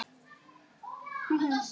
Elsku Gunna, vinkona okkar!